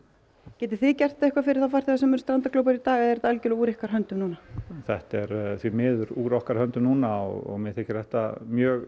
getið þið gert eitthvað fyrir farþega sem eru strandaglópar í dag eða er þetta algjörlega úr ykkar höndum núna þetta er því miður úr okkar höndum núna og mér þykir þetta mjög